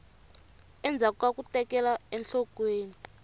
endzhaku ka ku tekela enhlokweni